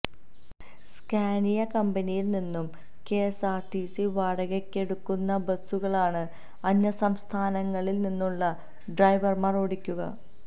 Scania കമ്പനിയിൽ നിന്നും കെഎസ്ആർടിസി വാടകയ്ക്കെടുക്കുന്ന ബസുകളാണ് അന്യസംസ്ഥാനങ്ങളിൽ നിന്നുള്ള ഡ്രൈവർമാർ ഓടിക്കുക